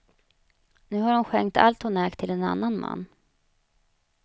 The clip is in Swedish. Nu har hon skänkt allt hon ägt till en annan man.